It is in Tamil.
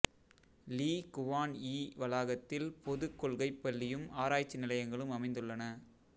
லீ குவான் யீ வளாகத்தில் பொதுக் கொள்கைப் பள்ளியும் ஆராய்ச்சி நிலையங்களும் அமைந்துள்ளன